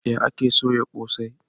Ya ake soya kose?